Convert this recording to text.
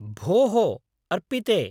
भोः अर्पिते!